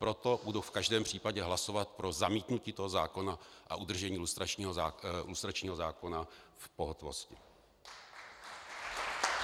Proto budu v každém případě hlasovat pro zamítnutí toho zákona a udržení lustračního zákona v pohotovosti.